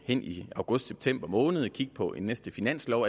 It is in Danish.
i i august september måned at kigge på en næste finanslov